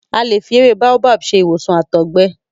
A lè fi ewé Baobab ṣe ìwòsàn àtọ̀gbẹ.